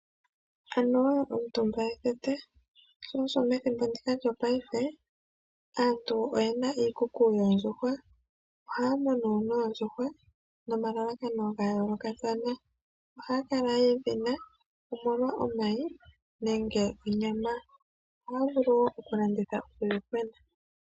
Omutumba ethete sho osho wu wete aantu mo ngaashingeyi ye na iikukutu yoondjuhwa. Aantu ohaa munu oondjuhwa nomalakano ga yoolokathana. Ohaa kala yedhi na omolwa omayi nosho woo onyama. ohaa landitha woo uuyuhwena.